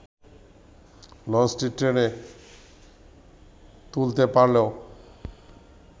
লঞ্চটি টেনে তুলতে পারলেও